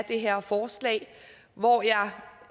det her forslag hvor jeg